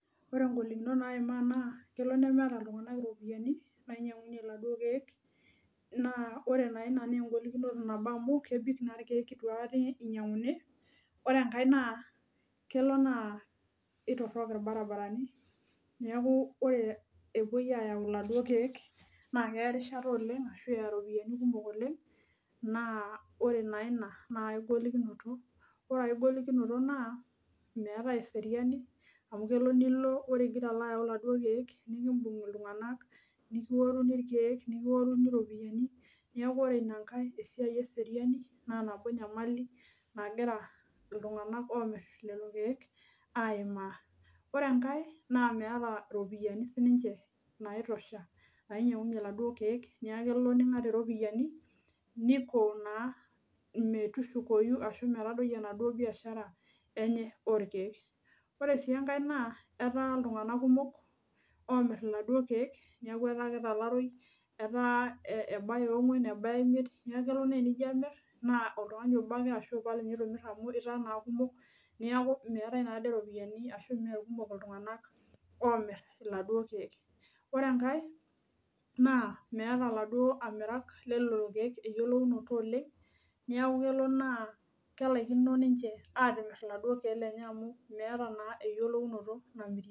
Ore inkolokinot naimaa naa kelo nemeeta iltunganak iropiyiani nainyiankunyie iladuo keek, naa ore naa ina naa enkolokinoto nabo amu, kebik naa ilkeek eitu aikata enyiankuni. Ore enkae naa kelo naa aitorok ilbaribarani, neeku ore epoi aayau iladuo keek, naa keya erishata oleng' ashu iropiyiani kumok oleng',naa ore naa ina naa aigolikinoto naa, meetai eseriani amu kelo nilo ore igara ayau iladuo keek, nibunga iltunganak nikioru ilkeek, nikioru iropiyiani, neeku ore ina nkae esiai eseriani naa nabo nyamali nagira iltunganak oomir lelo keek aimaa. Ore enkae naa meeta iropiyiani sininje naitosha nainyiankunyie iladuo keek, neeku kelo ninkat iropiyiani niko naa metushukoyu arashu metadoi enaduo biashara enye olkeek. Ore sii enkae naa etaa iltunganak kumok omir iladuo keek, neeku etaa kitalaroi etaa ebaya onkuan ebaya imiet. Neeku kelo naa tenijo amir naa oltungani obo ake ashu ipal ninye itumir amu itaa naa kumok, neeku meetai naade iropiyiani arashu meekumok iltunganak oomir iladuo keek. Ore enkae naa meeta iladuo amiraki loolelo Keek eyiolounot oleng',neeku kelo naa kelaikino ninje atimir iladuo keek lenye amu meeta naa eyiolounot namirie.